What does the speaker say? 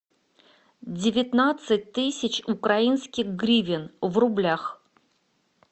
девятнадцать тысяч украинских гривен в рублях